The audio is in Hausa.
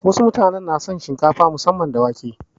Wasu mutanen na son shinkafa musamman da wake.